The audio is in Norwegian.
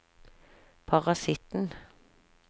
parasitten